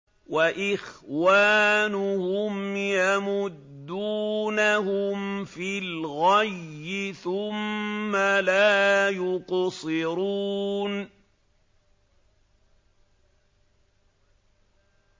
وَإِخْوَانُهُمْ يَمُدُّونَهُمْ فِي الْغَيِّ ثُمَّ لَا يُقْصِرُونَ